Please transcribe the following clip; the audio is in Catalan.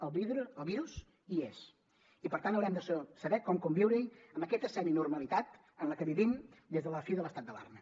el virus hi és i per tant haurem de saber com conviure hi en aquesta seminormalitat en què vivim des de la fi de l’estat d’alarma